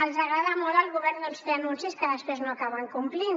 els agrada molt al govern doncs fer anuncis que després no acaben complint